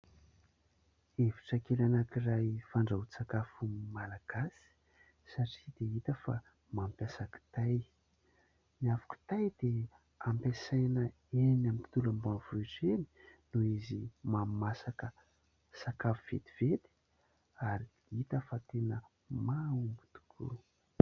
Efitra kely anankiray fandrahoan-tsakafo malagasy satria dia hita fa mampiasa kitay. Ny afo kitay dia ampiasaina eny amin'ny tontolo ambanivohitra eny noho izy mahamasaka sakafo vetivety ary hita fa tena mahomby tokoa.